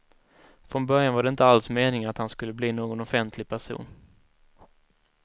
Från början var det inte alls meningen att han skulle bli någon offentlig person.